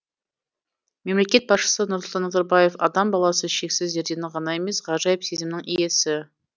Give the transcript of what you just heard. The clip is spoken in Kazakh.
мемлекет басшысы нұрсұлтан назарбаев адам баласы шексіз зерденің ғана емес ғажайып сезімнің иесі